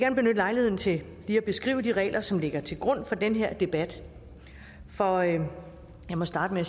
lejligheden til lige at beskrive de regler som ligger til grund for den her debat og jeg må starte med